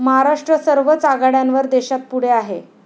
महाराष्ट्र सर्वच आघाड्यांवर देशात पुढे आहे.